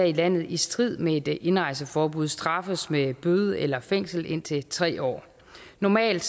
landet i strid med et indrejseforbud straffes med bøde eller fængsel indtil tre år normalt